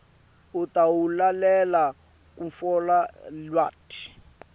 utawulalela kutfola lwati